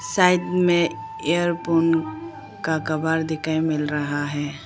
Side में earphone का cover दिखाई मिल रहा है।